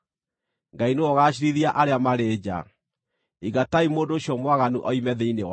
Ngai nĩwe ũgaaciirithia arĩa marĩ nja. “Ingatai mũndũ ũcio mwaganu oime thĩinĩ wanyu.”